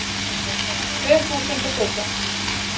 Tvö þúsund og sautján